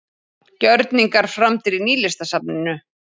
Gjörningar framdir í Nýlistasafninu